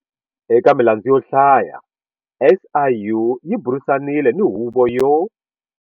Eka milandzu yo hlaya SIU yi burisanile ni Huvo yo.